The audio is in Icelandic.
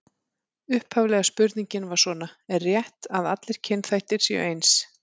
Upphaflega spurningin var svona: Er rétt að allir kynþættir séu eins?